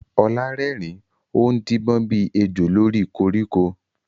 Olá rẹ́rìn-ín, ó ń díbọ́n bí ejò lórí koríko.